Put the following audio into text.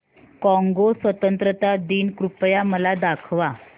Congo स्वतंत्रता दिन कृपया मला दाखवा